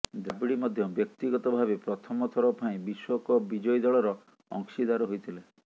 ଦ୍ରାବିଡ ମଧ୍ୟ ବ୍ୟକ୍ତିିଗତ ଭାବେ ପ୍ରଥମ ଥର ପାଇଁ ବିଶ୍ୱକପ୍ ବିଜୟୀ ଦଳର ଅଂଶୀଦାର ହୋଇଥିଲେ